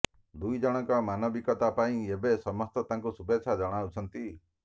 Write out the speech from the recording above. ଦୁଇଜଣଙ୍କ ମାନବିକତା ପାଇଁ ଏବେ ସମସ୍ତେ ତାଙ୍କୁ ଶୁଭେଚ୍ଛା ଜଣାଉଛନ୍ତି